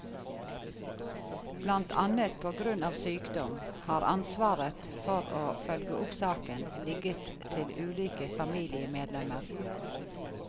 Blant annet på grunn av sykdom, har ansvaret for å følge opp saken ligget til ulike familiemedlemmer.